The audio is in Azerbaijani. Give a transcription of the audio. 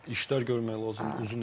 İşlər görmək lazımdır uzun illər.